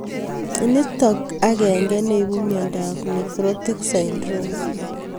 Nitok agenge neipu miondop nephrotic syndrome.